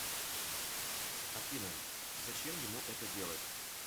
афина зачем ему это делать